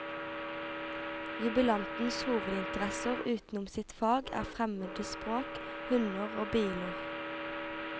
Jubilantens hovedinteresser utenom sitt fag er fremmede språk, hunder og biler.